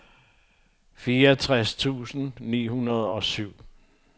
fireogtres tusind ni hundrede og syv